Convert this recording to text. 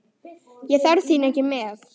Ég þarf þín ekki með.